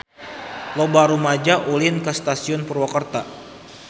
Loba rumaja ulin ka Stasiun Purwakarta